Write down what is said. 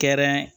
Kɛrɛn